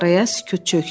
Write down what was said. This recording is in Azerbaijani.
Araya sükut çökdü.